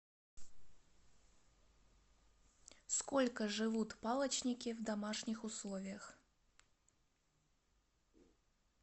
сколько живут палочники в домашних условиях